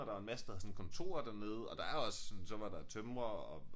Og der var en masse der havde sådan kontorer dernede og der er også sådan så var der tømrer og